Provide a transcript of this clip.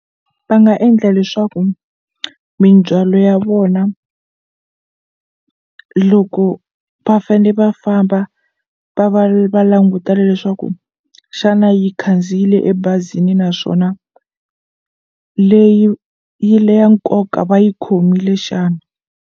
Va nga endla leswaku mindzwalo ya vona loko va fane va famba va va va langutela leswaku xana yi khandziyile ebazini naswona leyi yi le ya nkoka va yi khomile xana.